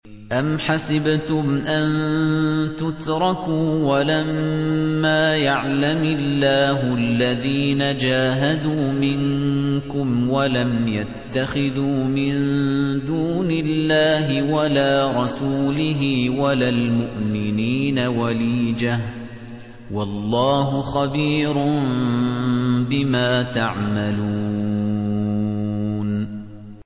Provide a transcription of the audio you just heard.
أَمْ حَسِبْتُمْ أَن تُتْرَكُوا وَلَمَّا يَعْلَمِ اللَّهُ الَّذِينَ جَاهَدُوا مِنكُمْ وَلَمْ يَتَّخِذُوا مِن دُونِ اللَّهِ وَلَا رَسُولِهِ وَلَا الْمُؤْمِنِينَ وَلِيجَةً ۚ وَاللَّهُ خَبِيرٌ بِمَا تَعْمَلُونَ